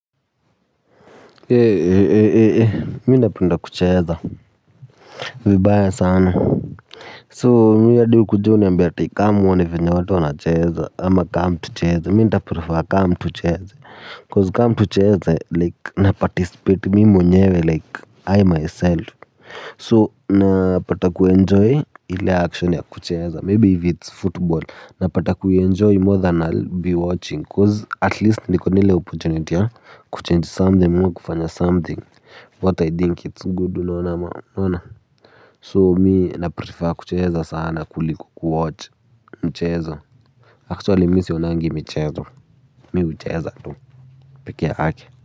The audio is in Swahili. Ee, mimi napenda kucheza vibaya sana. So mimi hadi ukuje uniambie ati come uone vile watu wanacheza ama come tucheze. Mimi nitaprefer; come tucheze. Cause come tucheze like na participate mimi mwenyewe like i myself so napata kuenjoy ile action ya kucheeza maybe if it's football. Napata kuenjoy more than i'll be watching cause at least niko na ile opportunity ya kuchange something ama kufanya something what i think it's good. Unaona. So mimi na prefer kucheza sana kuliko kuwatch mchezo actually mimi sionangi michezo mimi hucheza tu peke yake.